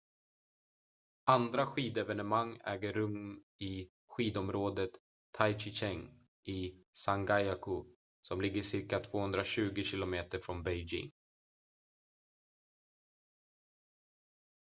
andra skidevenemang äger rum i skidområdet taizicheng i zhangjiakou som ligger cirka 220 km från beijing